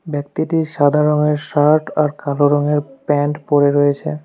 ব্যক্তিটি সাদা রঙের শার্ট আর কালো রঙের প্যান্ট পড়ে রয়েছে।